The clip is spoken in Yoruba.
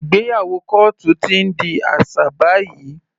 Ìgbéyàwó kọ́ọ́tù ti ń di aṣà báyìí.